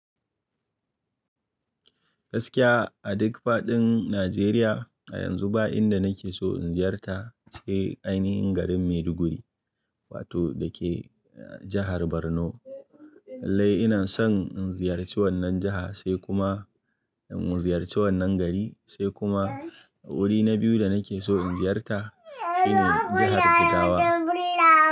Gaskiya a duk faɗin Najeriya, a yanzu ba inda nake so in ziyarta sai ainahin garin Maiduguri, wato dake jahar Borno. Lallai ina son in ziyarci wannan jaha sai kuma in ziyarci wannan gari, sai kuma wuri na biyu da nake so in ziyarta shine jahar Jigawa.